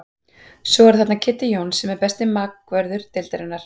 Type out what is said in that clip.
Svo eru þarna Kiddi Jóns sem er besti bakvörður deildarinnar.